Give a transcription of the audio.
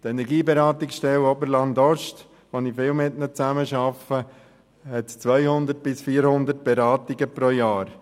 Die Energieberatungsstelle Oberland-Ost, mit der ich viel zusammenarbeite, macht 200–400 Beratungen pro Jahr.